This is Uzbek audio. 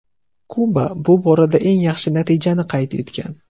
Kuba bu borada eng yaxshi natijani qayd etgan.